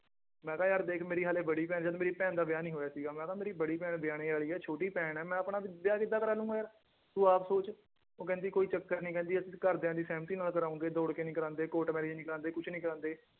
ਮੈਂ ਕਿਹਾ ਯਾਰ ਦੇਖ ਮੇਰੀ ਹਾਲੇ ਬੜੀ ਭੈਣ ਜਦ ਮੇਰੀ ਭੈਣ ਦਾ ਵਿਆਹ ਨੀ ਹੋਇਆ ਸੀਗਾ ਮੈਂ ਕਿਹਾ ਮੇਰੀ ਬੜੀ ਭੈਣ ਵਿਆਹਣੇ ਵਾਲੀ ਹੈ ਛੋਟੀ ਭੈਣ ਹੈ ਮੈਂ ਆਪਣਾ ਵਿਆਹ ਕਿੱਦਾਂ ਕਰਵਾ ਲਊਂਗਾ ਯਾਰ ਤੂੰ ਆਪ ਸੋਚ, ਉਹ ਕਹਿੰਦੀ ਕੋਈ ਚੱਕਰ ਨੀ ਕਹਿੰਦੀ ਅਸੀਂ ਘਰਦਿਆਂ ਦੀ ਸਹਿਮਤੀ ਨਾਲ ਕਰਵਾਓਗੇ ਦੌੜ ਕੇ ਨੀ ਕਰਵਾਉਂਦੇ court marriage ਨੀ ਕਰਵਾਉਂਦੇ ਕੁਛ ਨੀ ਕਰਵਾਉਂਦੇ